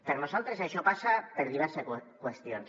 per nosaltres això passa per diverses qüestions